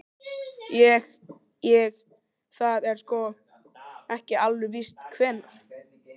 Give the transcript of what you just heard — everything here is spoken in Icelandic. Ég. ég. það er sko. ekki alveg víst hvenær.